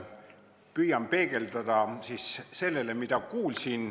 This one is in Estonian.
Püüan vastu peegeldada sellele, mida ma kuulsin.